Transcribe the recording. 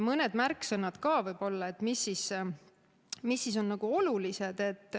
Mõni märksõna, mis on oluline, võib-olla ka.